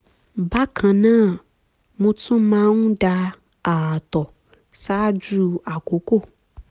bákan náà mo tún máa ń da ààtọ̀ ṣáájú àkókò